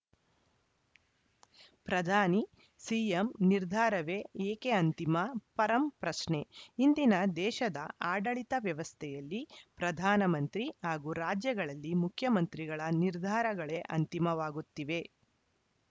ಪ್ರಧಾನಿ ಸಿಎಂ ನಿರ್ಧಾರವೇ ಏಕೆ ಅಂತಿಮ ಪರಂ ಪ್ರಶ್ನೆ ಇಂದಿನ ದೇಶದ ಆಡಳಿತ ವ್ಯವಸ್ಥೆಯಲ್ಲಿ ಪ್ರಧಾನ ಮಂತ್ರಿ ಹಾಗೂ ರಾಜ್ಯಗಳಲ್ಲಿ ಮುಖ್ಯಮಂತ್ರಿಗಳ ನಿರ್ಧಾರಗಳೇ ಅಂತಿಮವಾಗುತ್ತಿವೆ